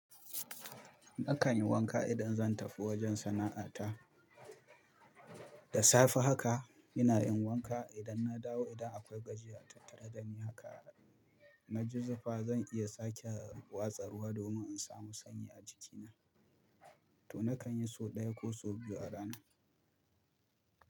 Nakan yi wanka idan zan tafi wajen sana'ata. Da safe haka ina yin wanka idan na dawo. Idan akwai gajiya tat tara dani haka na ji zufa, zan iya sake watsa ruwa domin in samu sanyi a jikina. To na kan yi sau ɗaya ko sau biyu a rana.